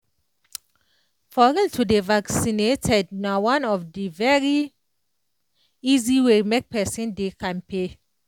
for real to dey vaccinated na one of the very easy way make pesin dey kampe